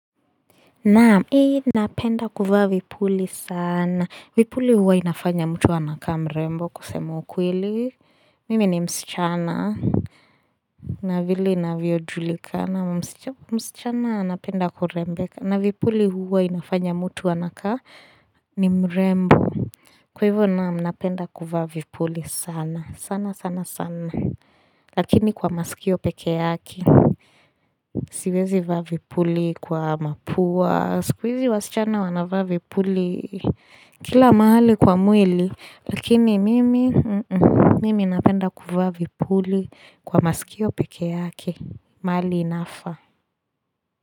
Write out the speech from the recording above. Naam, hii napenda kuvaa vipuli sana. Vipuli huwa inafanya mtu anakaa mrembo kusema ukweli. Mimi ni msichana. Na vili inavyo julikana. Msichana anapenda kurembeka. Na vipuli huwa inafanya mtu anakaa ni mrembo. Kwa hivyo naam napenda kuvaa vipuli sana sana sana sana Lakini kwa masikio pekee yake Siwezi vaa vipuli kwa mapuwa Skuizi wasichana wana vaa vipuli Kila mahali kwa mwili Lakini mimi napenda kuvaa vipuli Kwa masikio peke yake maali inafa.